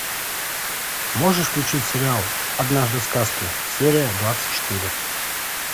можешь включить сериал однажды в сказке серия двадцать четыре